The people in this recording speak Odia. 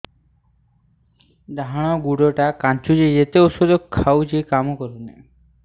ଡାହାଣ ଗୁଡ଼ ଟା ଖାନ୍ଚୁଚି ଯେତେ ଉଷ୍ଧ ଖାଉଛି କାମ କରୁନି